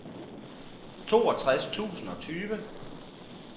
toogtres tusind og tyve